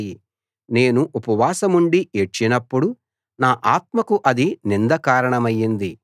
నేను ఉపవాసముండి ఏడ్చినపుడు నా ఆత్మకు అది నింద కారణమైంది